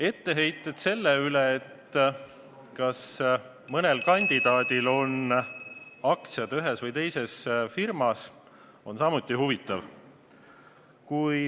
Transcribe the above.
Etteheited selle kohta, kas mõnel kandidaadil on aktsiad ühes või teises firmas, on samuti huvitav.